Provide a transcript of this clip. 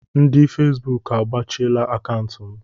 Ndị Fesbuk agbachiela akaụntụ m.